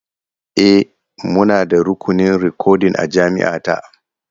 E, muna da rukunin rikodin a jami’a ta.